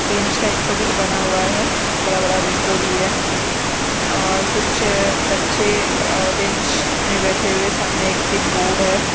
Bench type का कुछ बना हुआ है बड़ा-बड़ा विंडो भी है और कुछ बच्चे बेंच में बैठे हुए सामने एक ग्रीन बोर्ड है।